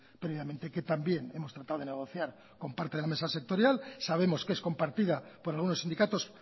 previamente que también hemos tratado de negociar con parte de la mesa sectorial sabemos que es compartida por algunos sindicatos